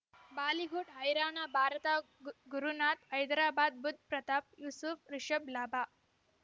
Bollywood ಹೈರಾಣ ಭಾರತ ಗುರುನಾಥ ಹೈದರಾಬಾದ್ ಬುಧ್ ಪ್ರತಾಪ್ ಯೂಸುಫ್ ರಿಷಬ್ ಲಾಭ